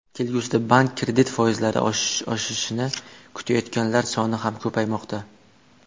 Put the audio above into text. Kelgusida bank kredit foizlari oshishini kutayotganlar soni ham ko‘paymoqda.